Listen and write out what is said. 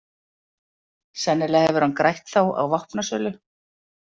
Sennilega hefur hann grætt þá á vopnasölu.